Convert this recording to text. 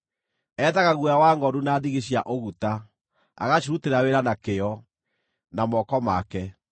Ethaga guoya wa ngʼondu na ndigi cia ũguta, agacirutĩra wĩra na kĩyo, na moko make.